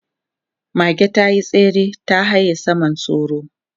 Mage ta yi tsere ta haye saman sauro.